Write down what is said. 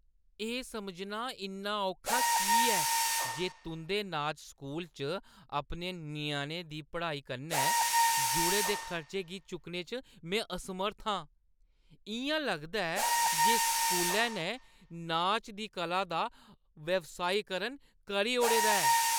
एह् समझना इन्ना औखा की ऐ जे तुंʼदे नाच स्कूल च अपने ञ्याणे दी पढ़ाई कन्नै जुड़े दे खर्चें गी चुक्कने च में असमर्थ आं? इʼयां लगदा ऐ जे इस स्कूलै ने नाच दी कला दा व्यावसायीकरण करी ओड़े दा ऐ।